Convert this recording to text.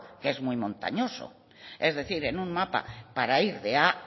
que es muy montañoso es decir es un mapa para ir de a